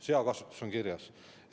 Seakasvatus on kirjas.